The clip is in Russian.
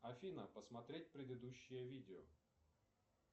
афина посмотреть предыдущее видео